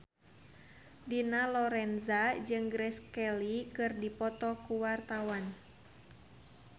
Dina Lorenza jeung Grace Kelly keur dipoto ku wartawan